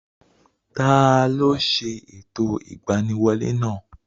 Taló ṣe ẹ̀tọ́ ìgbaniwolẹ́ náà?